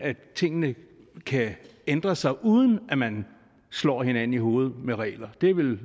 tingene kan ændre sig uden at man slår hinanden oven i hovedet med regler det er vel